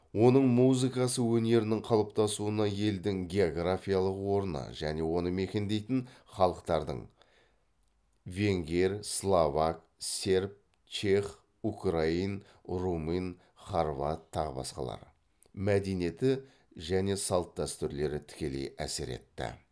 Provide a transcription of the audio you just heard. оның музыкасы өнерінің қалыптасуына елдің географиялық орны және оны мекендейтін халықтардың мәдениеті және салт дәстүрлері тікелей әсер етті